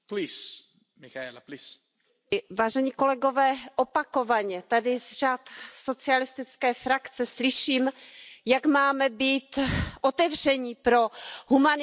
Opakovaně tady z řad socialistické frakce slyším, jak máme být otevření pro humanitární přijetí tisíců uprchlíků.